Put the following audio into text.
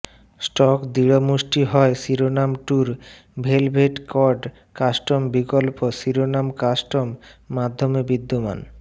stock দৃঢ়মুষ্টি হয় শিরোনাম ট্যুর ভেলভেট কর্ড কাস্টম বিকল্প শিরোনাম কাস্টম মাধ্যমে বিদ্যমান